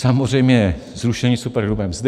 Samozřejmě zrušení superhrubé mzdy.